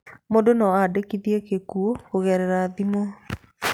Mũndũ no andĩkithie gĩkuũ kũgerera thimũ.